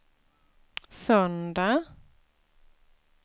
söndag